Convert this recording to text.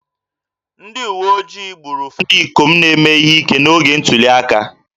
Ndị uwe ojii gburu ụfọdụ ndị ikom na-eme ihe ike n'oge ntuli aka